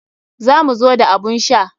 Za mu zo da abun sha.